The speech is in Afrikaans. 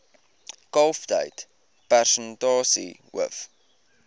kalftyd persentasie hoof